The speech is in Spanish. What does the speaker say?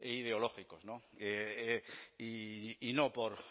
ideológicos no y no por